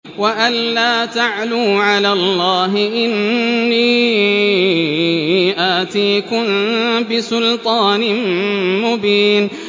وَأَن لَّا تَعْلُوا عَلَى اللَّهِ ۖ إِنِّي آتِيكُم بِسُلْطَانٍ مُّبِينٍ